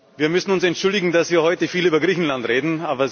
Wir müssen uns entschuldigen, dass wir heute viel über Griechenland reden.